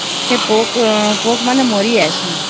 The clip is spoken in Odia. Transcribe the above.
ସେ ପୋକ ମାନେ ମାରି ଯଇସନ